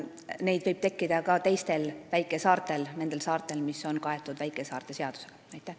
Neid võib tekkida ka teistel väikesaartel: nendel saartel, mis käivad väikesaarte seaduse alla.